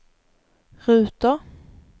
ruter